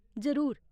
जरूर।